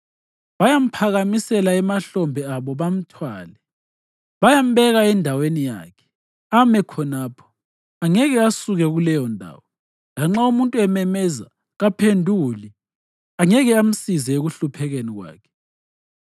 Bayamphakamisela emahlombe abo bamthwale; bayambeka endaweni yakhe, ame khonapho. Angeke asuke kuleyondawo. Lanxa umuntu ememeza, kaphenduli; angeke amsize ekuhluphekeni kwakhe.